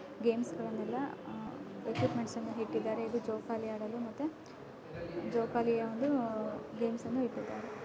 '' Games ಗಳೆಲ್ಲ ಅಹ್ equipments ಇಟ್ಟಿದ್ದಾರೆ ಇಲ್ಲಿ ಜೋಗ ಅಲ್ಲಿ ಮತ್ತು ಜೋಗಾಲಿ ಗೇಮ್ಸ್ ಇಟ್ಟಿದ್ದಾರೆ. ''